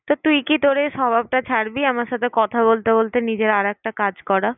তা তুই কি তোর এই স্বভাবটা ছাড়বি আমার সাথে কথা বলতে বলতে নিজের আর একটা কাজ করা?